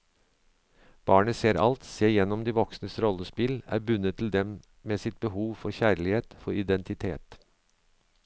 Barnet ser alt, ser igjennom de voksnes rollespill, er bundet til dem med sitt behov for kjærlighet, for identitet.